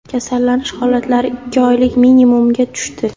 Kasallanish holatlari ikki oylik minimumga tushdi.